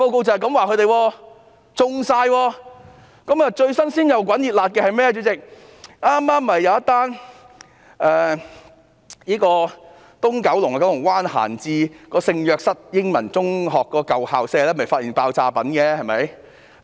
主席，近期最新鮮滾熱辣的事件，就是一宗在九龍灣閒置的聖若瑟英文中學舊校舍搗破的爆炸品發現案。